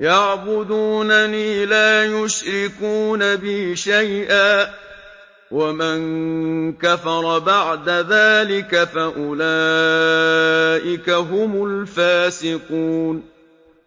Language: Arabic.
يَعْبُدُونَنِي لَا يُشْرِكُونَ بِي شَيْئًا ۚ وَمَن كَفَرَ بَعْدَ ذَٰلِكَ فَأُولَٰئِكَ هُمُ الْفَاسِقُونَ